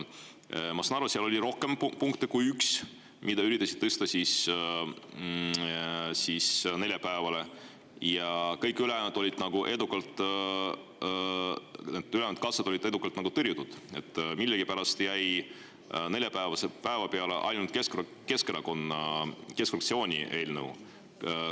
Ma saan aru, et seal oli rohkem kui üks punkt, mida üritati tõsta neljapäevale, aga kõik ülejäänud katsed said edukalt tõrjutud, nii et millegipärast jäi neljapäevase päeva peale ainult Keskerakonna fraktsiooni eelnõu.